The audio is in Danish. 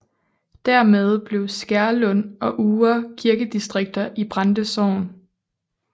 Dermed blev Skærlund og Uhre kirkedistrikter i Brande Sogn